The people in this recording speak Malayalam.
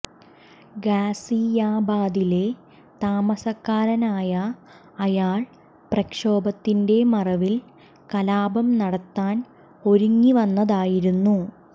ഗാസിയാബാദിലെ താമസക്കാരനായ അയാൾ പ്രക്ഷോഭത്തിന്റെ മറവിൽ കലാപം നടത്താൻ ഒരുങ്ങി വന്നതായിരുന്നു